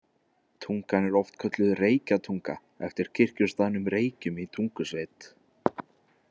Tungan er oft kölluð Reykjatunga, eftir kirkjustaðnum Reykjum í Tungusveit.